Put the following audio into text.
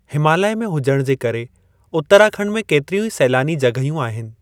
हिमालय में हुजण जे करे उत्तराखंड में केतिरियूं ई सैलानी जॻहियूं आहिनि।